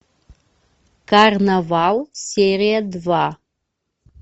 карнавал серия два